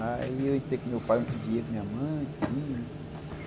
Aí eu entrei com meu pai, no outro dia com minha mãe, tudinho.